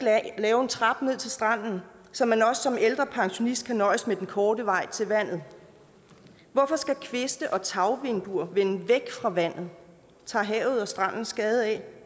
lave en trappe ned til stranden så man også som ældre pensionist kan nøjes med den korte vej til vandet hvorfor skal kviste og tagvinduer vende væk fra vandet tager havet og stranden skade af